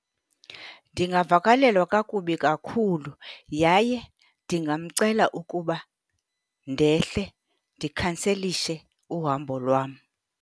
Ndingavakalelwa kakubi kakhulu yaye ndingamcela ukuba ndehle, ndikhanselishe uhambo lwam.